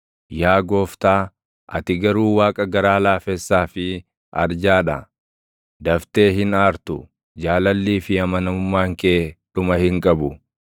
Yaa Gooftaa, ati garuu Waaqa garaa laafessaa fi arjaa dha; daftee hin aartu; jaalallii fi amanamummaan kee dhuma hin qabu.